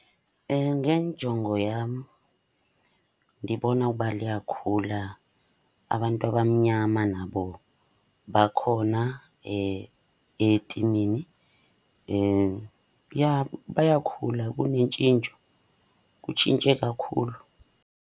Ngenjongo yam, ndibona uba liyakhula. Abantu abamnyama nabo bakhona etimini. Ja bayakhula, kunentshintsho, kutshintshe kakhulu.